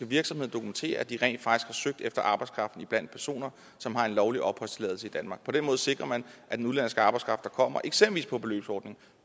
virksomheden dokumentere at de rent faktisk har søgt efter arbejdskraften iblandt personer som har en lovlig opholdstilladelse i danmark på den måde sikrer man at den udenlandske arbejdskraft der kommer eksempelvis på beløbsordningen